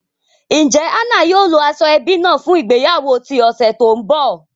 Njẹ Anna yóò lo ashoebi naa fun ìgbéyàwó ti ọsẹ to nbọ?